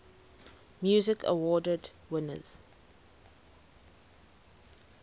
music awards winners